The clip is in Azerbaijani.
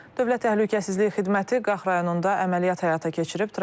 Dövlət Təhlükəsizlik Xidməti Qax rayonunda əməliyyat həyata keçirib.